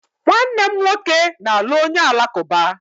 Nwanne m nwoke na-alụ onye Alakụba